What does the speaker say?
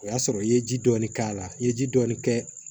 O y'a sɔrɔ i ye ji dɔɔni k'a la i ye ji dɔɔni kɛ